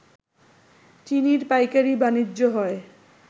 চিনির পাইকারি বাণিজ্য হয়